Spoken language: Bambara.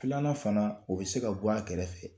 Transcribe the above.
Filanan fana, o be se ka bɔ a kɛrɛfɛ.